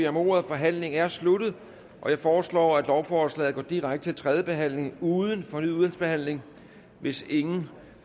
om ordet forhandlingen er sluttet jeg foreslår at lovforslaget går direkte til tredje behandling uden fornyet udvalgsbehandling hvis ingen